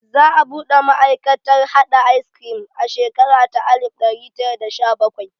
Za a buɗe ma'aikatar haɗa ayis krim a shekara ta alif ɗari tara da sha bakwai